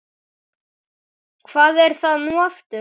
Hvað er það nú aftur?